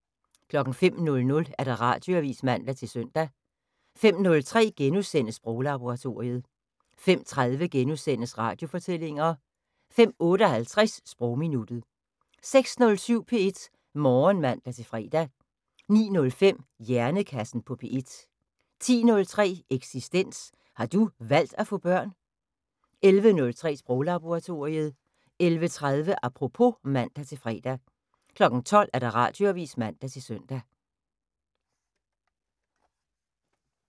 05:00: Radioavis (man-søn) 05:03: Sproglaboratoriet * 05:30: Radiofortællinger * 05:58: Sprogminuttet 06:07: P1 Morgen (man-fre) 09:05: Hjernekassen på P1 10:03: Eksistens: Har du valgt at få børn? 11:03: Sproglaboratoriet 11:30: Apropos (man-fre) 12:00: Radioavis (man-søn)